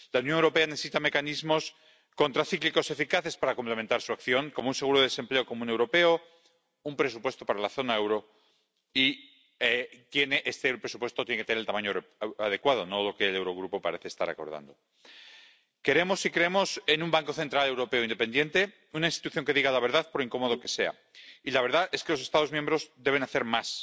La Unión Europea necesita mecanismos contracíclicos eficaces para complementar su acción, como un seguro de desempleo común europeo o un presupuesto para la zona del euro —y el presupuesto tiene que tener el tamaño adecuado, no lo que el Eurogrupo parece estar acordando—. Queremos y creemos en un Banco Central Europeo independiente, una institución que diga la verdad, por incómoda que sea, y la verdad es que los Estados miembros deben hacer más.